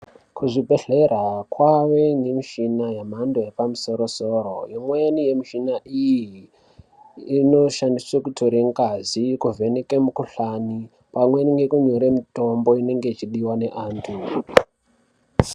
Kuzvibhedhlera kwave nemichina yemhando yepamusoro-soro, imweni yemichina iyi, inoshandiswa kutora ngazi, kuvheneka mukhuhlani pamwe nekunyora mitombo inenge ichidiwa nantu.